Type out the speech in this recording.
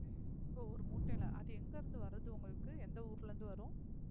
ஓ ஒரு மூட்டையிலே அது எங்க இருந்து வருது உங்களுக்கு எந்த ஊர்ல இருந்து வரும்